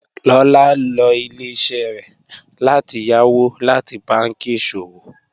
Lọ́lá lọ ilẹ̀-iṣẹ rẹ láti yàwó láti bànki iṣọwọ